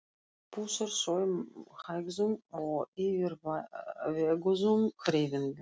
Pússar þau með hægum og yfirveguðum hreyfingum.